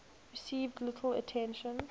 received little attention